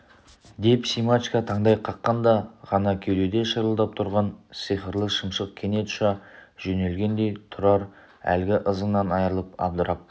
деп семашко таңдай қаққанда ғана кеудеде шырылдап тұрған сиқырлы шымшық кенет ұша жөнелгендей тұрар әлгі ызыңнан айырылып абдырап